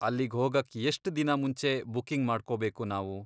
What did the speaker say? ಅಲ್ಲಿಗ್ ಹೋಗಕ್ ಎಷ್ಟ್ ದಿನ ಮುಂಚೆ ಬುಕ್ಕಿಂಗ್ ಮಾಡ್ಕೊಬೇಕು ನಾವು?